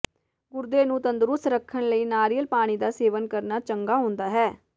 ਗੁਰਦੇ ਨੂੰ ਤੰਦਰੁਸਤ ਰੱਖਣ ਲਈ ਨਾਰਿਅਲ ਪਾਣੀ ਦਾ ਸੇਵਨ ਕਰਨਾ ਚੰਗਾ ਹੁੰਦਾ ਹੈ